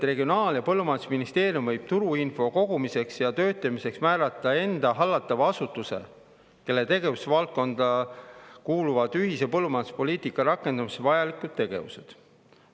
Regionaal‑ ja Põllumajandusministeerium võib turuinfo kogumiseks ja töötlemiseks määrata enda hallatava asutuse, kelle tegevusvaldkonda kuuluvad ühise põllumajanduspoliitika rakendamiseks vajalikud tegevused.